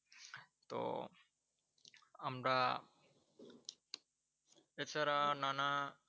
তো আমরা এছাড়া নানা